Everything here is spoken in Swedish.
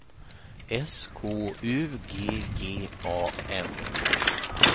S K U G G A N